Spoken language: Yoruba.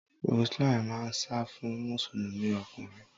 Roseline máa ń sá fún Mùsùlùmí ọkùnrin.